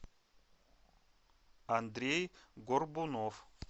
андрей горбунов